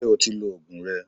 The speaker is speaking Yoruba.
Ṣé o ti lo Ògùn rẹ?